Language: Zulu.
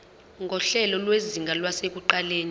nguhlelo lwezinga lasekuqaleni